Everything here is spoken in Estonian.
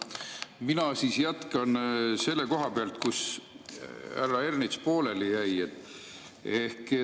Mina jätkan selle koha pealt, kus härra Ernits pooleli jäi.